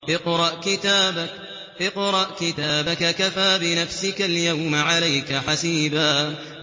اقْرَأْ كِتَابَكَ كَفَىٰ بِنَفْسِكَ الْيَوْمَ عَلَيْكَ حَسِيبًا